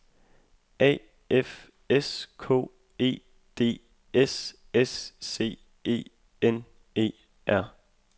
A F S K E D S S C E N E R